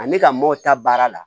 Ani ka mɔw ta baara la